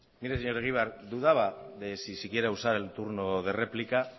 mire señor egibar dudaba de si siquiera usar el turno de réplica